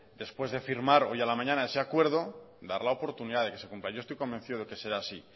después de firmar hoy a la mañana ese acuerdo dar la oportunidad de que se cumpla yo estoy convencido de que será así